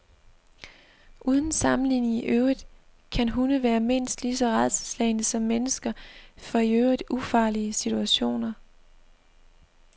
Uden sammenligning i øvrigt kan hunde være mindst lige så rædselsslagne som mennesker for i øvrigt ufarlige situationer.